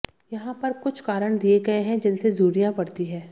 यहां पर कुछ कारण दिये गए हैं जिनसे झुर्रियां पड़ती हैं